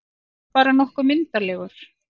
Bara nokkuð myndarlegur.